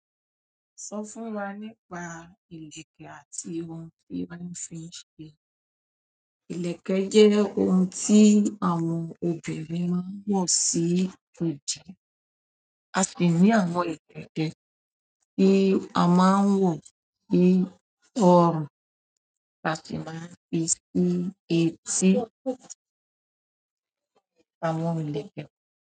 Sọ fún wa nípa ìlẹ̀kẹ̀ àti ohun tí wọ́n fi ń ṣe. Ìlẹ̀kẹ̀ jẹ́ ohun tí àwọn obìnrin máa ń wọ̀ sí idi. A sì ní àwọn ìkéké tí a máa ń wọ̀ sí ọrùn. A sì máa ń fi sí etí àwọn ìlẹ̀kẹ̀.